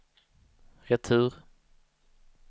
retur